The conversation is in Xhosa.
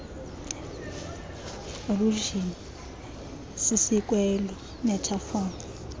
allusion sisiikweko metaphor